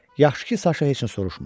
Yaxşı ki, Saşa heç nə soruşmadı.